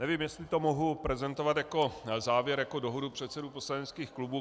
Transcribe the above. Nevím, jestli to mohu prezentovat jako závěr, jako dohodu předsedů poslaneckých klubů.